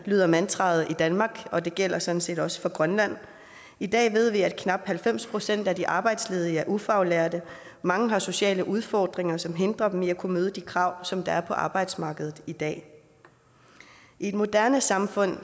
lyder mantraet i danmark og det gælder sådan set også for grønland i dag ved vi at knap halvfems procent af de arbejdsledige er ufaglærte og mange har sociale udfordringer som hindrer dem i at kunne møde de krav som der er på arbejdsmarkedet i dag i et moderne samfund